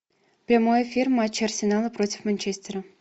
прямой эфир матча арсенала против манчестера